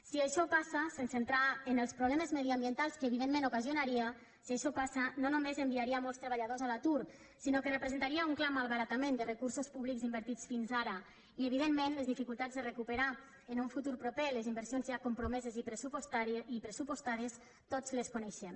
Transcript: si això passa sense entrar en els problemes mediambientals que evidentment ocasionaria si això passa no només enviaria molts treballadors a l’atur sinó que representaria un clar malbaratament de recursos públics invertits fins ara i evidentment les dificultats per a recuperar en un futur proper les inversions ja compromeses i pressupostades tots les coneixem